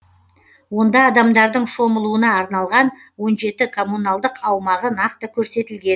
онда адамдардың шомылуына арналған он жеті коммуналдық аумағы нақты көрсетілген